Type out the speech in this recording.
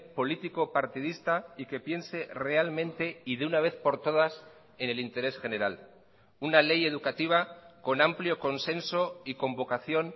político partidista y que piense realmente y de una vez por todas en el interés general una ley educativa con amplio consenso y con vocación